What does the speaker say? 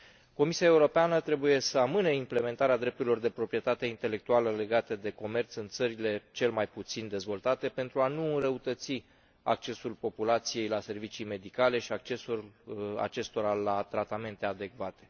Comisia Europeană trebuie să amâne implementarea drepturilor de proprietate intelectuală legate de comerț în țările cel mai puțin dezvoltate pentru a nu înrăutăți accesul populației la servicii medicale și accesul acestora la tratamente adecvate.